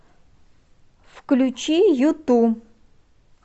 включи юту